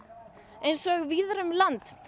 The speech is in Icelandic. eins og víðar um land